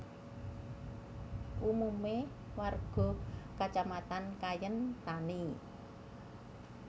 Umume warga kacamatan Kayen tani